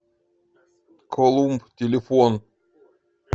колумб телефон